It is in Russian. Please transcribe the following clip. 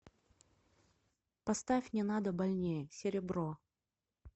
поставь не надо больнее серебро